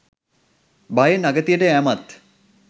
භයෙන් අගතියට යැමත්